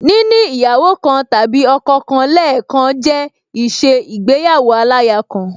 Níní ìyàwó kan tàbí ọkọ kan lẹẹkan jẹ́ ìṣe igbéyàwó aláya kan